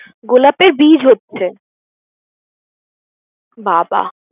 গোলাপের বীজ হচ্ছে বাঃ বাঃ